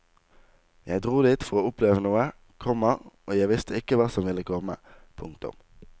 Jeg dro dit for å oppleve noe, komma og jeg visste ikke hva som ville komme. punktum